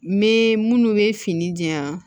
Me minnu bɛ fini di yan